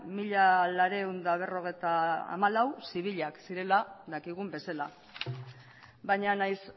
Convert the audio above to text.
mila laurehun eta berrogeita hamalau zibilak zirela dakigun bezala baina nahiz